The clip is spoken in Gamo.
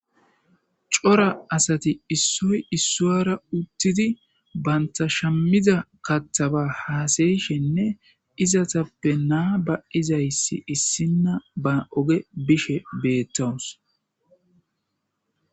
Cora asati issoy issuwara uttidi bantashammiza kattaba haasayishenne izatappe naa ba izayssi issinna ba oge bishe beettawus.